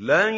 لَن